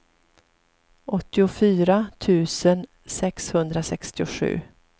åttiofyra tusen sexhundrasextiosju